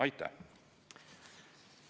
Aitäh!